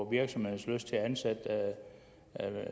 virksomhedernes lyst til at ansætte